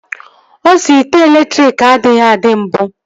Osi ite elektriki adịghị adị mbụ